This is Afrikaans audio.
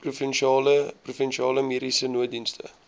provinsiale mediese nooddienste